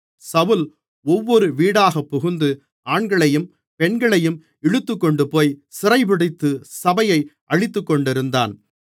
சவுல் ஒவ்வொரு வீடாகப்புகுந்து ஆண்களையும் பெண்களையும் இழுத்துக்கொண்டுபோய் சிறைப்பிடித்து சபையை அழித்துக்கொண்டிருந்தான்